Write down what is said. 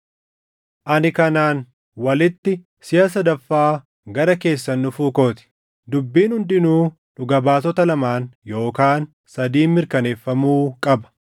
Ani kanaan walitti siʼa sadaffaa gara keessan dhufuu koo ti. “Dubbiin hundinuu dhuga baatota lamaan yookaan sadiin mirkaneeffamuu qaba.” + 13:1 \+xt KeD 19:15\+xt*